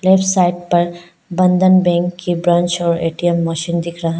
Left side पर Bandhan bank की branch और ए_टी_एम मशीन दिख रहा है।